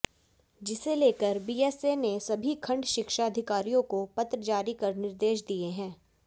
जिसे लेकर बीएसए ने सभी खंड शिक्षा अधिकारियों को पत्र जारी कर निर्देश दिए हैं